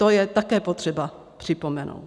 To je také potřeba připomenout.